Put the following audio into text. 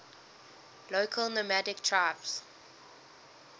local nomadic tribes